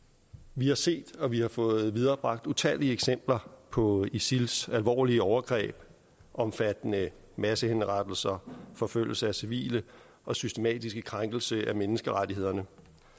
vi har set og vi har fået viderebragt utallige eksempler på isils alvorlige overgreb omfattende massehenrettelser forfølgelse af civile og systematiske krænkelser af menneskerettighederne